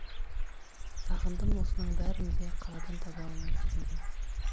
сағындым осының бәрін де қаладан таба алмай жүргенім